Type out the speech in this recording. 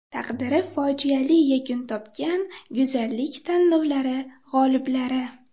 Taqdiri fojiali yakun topgan go‘zallik tanlovlari g‘oliblari .